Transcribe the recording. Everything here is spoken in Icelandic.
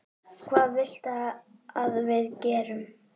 Hvað viltu að við gerum?